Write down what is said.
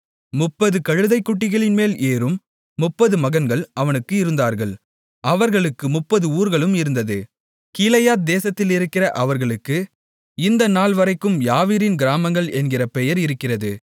முப்பது கழுதைக்குட்டிகளின்மேல் ஏறும் முப்பது மகன்கள் அவனுக்கு இருந்தார்கள் அவர்களுக்கு முப்பது ஊர்களும் இருந்தது கீலேயாத் தேசத்திலிருக்கிற அவைகளுக்கு இந்த நாள்வரைக்கும் யாவீரின் கிராமங்கள் என்கிற பெயர் இருக்கிறது